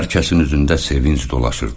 Hər kəsin üzündə sevinc dolaşırdı.